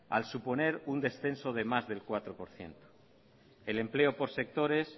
al suponer un descenso de más del cuatro por ciento el empleo por sectores